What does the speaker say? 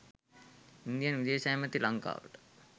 Indian විදේශ ඇමති ලංකාවට